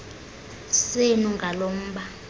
senu ngalo mba